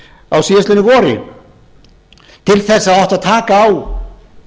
á síðastliðnu vori til þess að það átti að taka á